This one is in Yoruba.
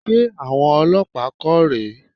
Ṣé aṣọ àwọn olọ́pàá kọ́ rè é?